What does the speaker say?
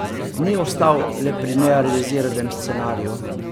Ni ostal le pri nerealiziranem scenariju.